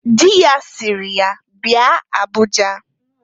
Di ya siri, "Bia Abuja!"